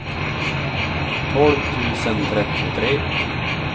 tolv tusen trettiotre